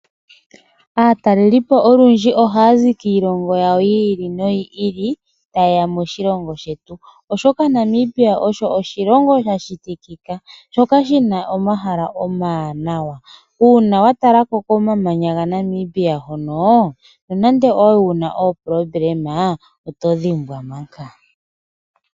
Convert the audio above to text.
Aatalelipo olundji ohaya zi kiilongo yawo yi ili noyi ili ta yeya moshilongo shetu. Namibia osho oshilongo sha shitikika shi na omahala omawanawa. Uuna wa talako komamanya gaNamibia hono nonande owali wu na uudhigu komutima otowu dhimbwa.